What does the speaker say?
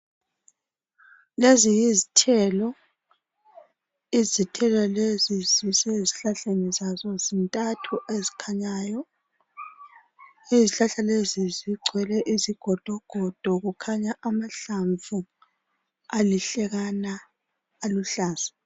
Leziyizithelo. Izithelo lezi zisezihlahleni zazo zintathu ezikhanyayo. Izihlahla lezi zigcwele izigodogodo kukhanya amahlamvu alihlekana aluhlaza.